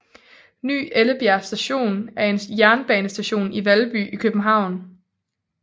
Ny Ellebjerg Station er en jernbanestation i Valby i København